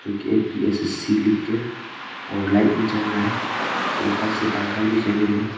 जोकि ए_पी_एस_एस_सी लिख के और लाइट भी जल रहा है फिर ऊपर से पंखा भी दिखाई दे रहे है।